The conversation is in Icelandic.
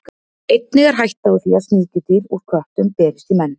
Einnig er hætta á því að sníkjudýr úr köttum berist í menn.